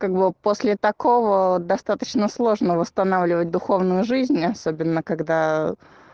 как бы после такого достаточно сложно восстанавливать духовную жизнь особенно когда